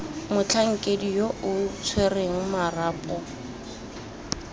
motlhankedi yo o tshwereng marapo